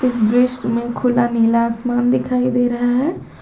इस दृश्य में खुला नीला आसमान दिखाई दे रहा है।